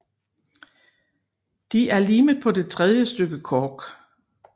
De er limet på det tredje stykke kork